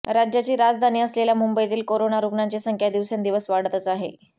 राज्याची राजधानी असलेल्या मुंबईतील कोरोना रुग्णांची संख्या दिवसेंदिवस वाढतच आहे